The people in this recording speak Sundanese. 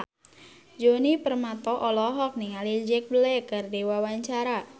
Djoni Permato olohok ningali Jack Black keur diwawancara